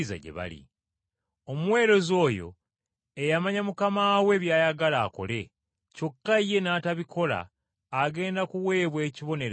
“Omuweereza oyo eyamanya mukama we by’ayagala akole, kyokka ye n’atabikola agenda kuweebwa ekibonerezo kinene.